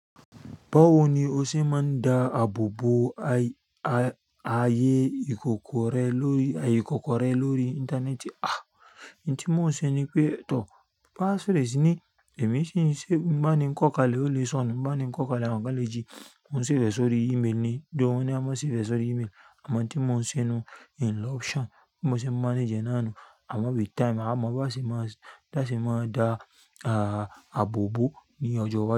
Báwo ni o ṣe máa ń da àbòbò ayé ìkòkò rẹ lórí aye íkòkò rẹ lórí íńtánẹ́ẹ̀tì? Ah! Ìn tí mò ń ṣe ni pé tọ, passphrase sí ní, èmi ṣìnṣé, bí n bá ni kọ́kale ole sọnù, nbá ni kọ́ kaleẹ́ àwọn kan lẹ́jì, mo safe e sórí email mi, though wọ́n ní a má safe rẹ̀ sórí email, àmọ́ iun tí mò ń ṣe nun, in lọ́ ọption, bí mo ṣe ń mánage ẹ naanú, àmọ́ with time, a mo bíwọn ṣe máa, bí wọn ṣe máa da àbò bòo ní ọjọ́ iwájú.